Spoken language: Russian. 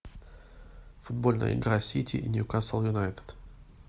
футбольная игра сити и ньюкасл юнайтед